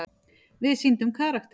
Við sýndum karakter.